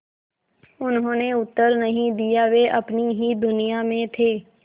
उन्होंने उत्तर नहीं दिया वे अपनी ही दुनिया में थे